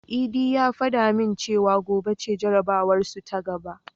Idi ya fada min cewa gobe ce jarabawarsu ta gaba.